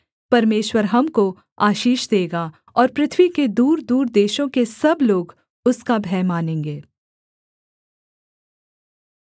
परमेश्वर हमको आशीष देगा और पृथ्वी के दूरदूर देशों के सब लोग उसका भय मानेंगे